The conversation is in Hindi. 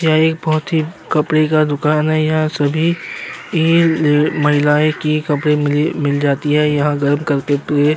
यह एक बोहोत ही कपड़े का दुकान हैं। यहाँ सभी ए न् महिलाएं की कपड़े मिल मिल जाती हैं। यहाँ गर्म करके पिए --